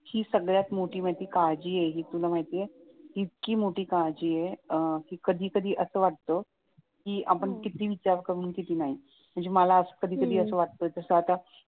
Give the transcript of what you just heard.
हि सगळ्यात मोठी काळजी आहे हे तुला माहिती आहे इतकी मोठी काळजी आहे अं कि कधी कधी असं वाटत कि आपण किती विचार करू आणि किती नाही म्हणजे हम्म मला असं कधी कधी वाटत तास आता